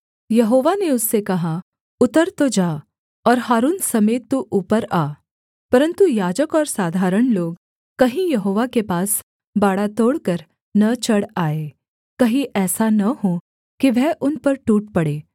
यहोवा ने उससे कहा उतर तो जा और हारून समेत तू ऊपर आ परन्तु याजक और साधारण लोग कहीं यहोवा के पास बाड़ा तोड़कर न चढ़ आएँ कहीं ऐसा न हो कि वह उन पर टूट पड़े